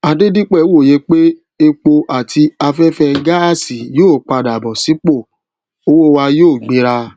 adedipe wòye pé epo àti aféfé gáàsì yóò padà bó sípòtí owó wa yóò gbéra